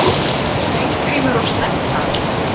Steingrímur og Sledda,